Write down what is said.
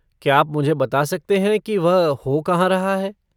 क्या आप मुझे बता सकते हैं की वह हो कहाँ रहा है।